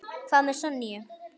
Hvað með Sonju?